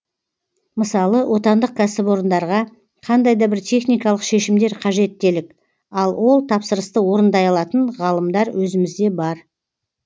мысалы отандық кәсіпорындарға қандай да бір техникалық шешімдер қажет делік ал ол тапсырысты орындай алатын ғалымдар өзімізде бар